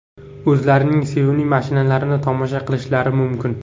o‘zlarining sevimli mashinalarini tomosha qilishlari mumkin.